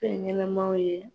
Fɛn ɲɛnɛmaw ye